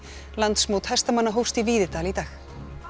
landsmót hestamanna hófst í Víðidal í dag